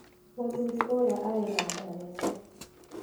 Mũthuri ũrĩa arĩ na nda nene.